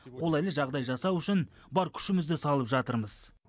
қолайлы жағдай жасау үшін бар күшімізді салып жатырмыз